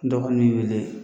Dɔ ka nin wele